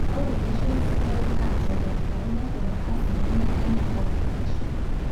ore eishoi sidai naas oldakitari nepona asilimia enaa karsisishu